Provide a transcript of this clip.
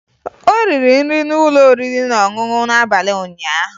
O riri nri n'ụlọ oriri na ọṅụṅụ n'abalị ụnyaahụ